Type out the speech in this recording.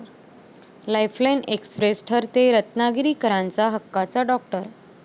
Lifeline express' ठरतेय रत्नागिरीकरांचा हक्काचा 'डाॅक्टर'!